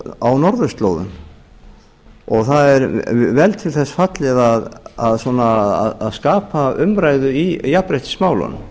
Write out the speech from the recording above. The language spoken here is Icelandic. á norðurslóðum og það er vel til þess fallið að skapa umræðu í jafnréttismálunum